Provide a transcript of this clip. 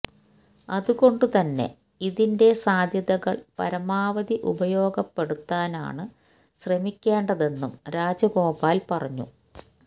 അതുകൊണ്ട് തന്നെ ഇതിണ്റ്റെ സാധ്യതകള് പരമാവധി ഉപയോഗപ്പെടുത്താനാണ് ശ്രമിക്കേണ്ടതെന്നും രാജഗോപാല് പറഞ്ഞു